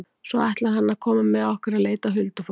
Svo ætlar hann að koma með okkur að leita að huldufólki.